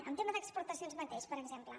en tema d’exportacions mateix per exemple